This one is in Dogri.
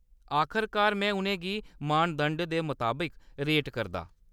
आखरकार, में उʼनें गी मानदंड दे मताबक रेट करदा।